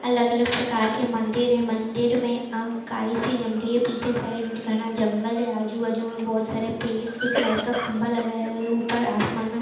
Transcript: अलग अलग प्रकार के मंदिर हैं मंदीर में अ काइसी जम रही हैं पीछे साइड घना जंगल हैं आजु बाजुमें बोहोत सारे पेड़ एक लाइट का खम्बा लगाया हुया हैं ऊपर आसमान मे--